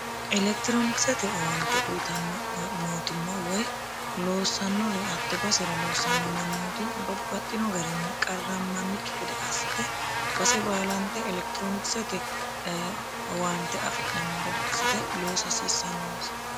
elektiroonikisete owaante uyitanno mootimma woy loossannori hatte basera loossanno mannooti babbaxxino garinni qarrammannikki gede assite base baalante elekitiroonikisete owaante afi'nanni gede assite loosa hasiissannonsa